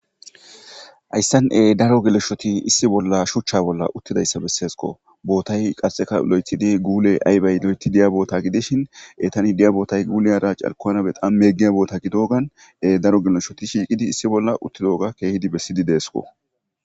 hayssane daro geloshoti issi bolla shuchcha bolla uttidayssa besseesko bootay qasxeka lo7etidi guule aybey lo7eti diya boota gidishin e tani diya bootay guule ara carkona be qan meggiya boota gidogan daro geloshoti shiiqidi issi bolla uttidoga keehidi bessidi deesko